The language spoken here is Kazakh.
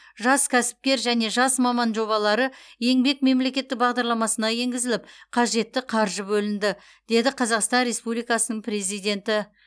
жас кәсіпкер және жас маман жобалары еңбек мемлекеттік бағдарламасына енгізіліп қажетті қаржы бөлінді деді қазақстан республикасының президенті